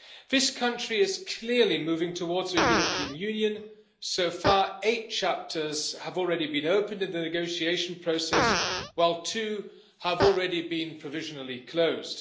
This country is clearly moving towards the European Union so far, eight chapters have already been opened in the negotiation process, while two have already been provisionally closed.